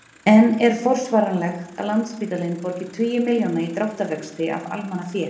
En er forsvaranlegt að Landspítalinn borgi tugi milljóna í dráttarvexti af almannafé?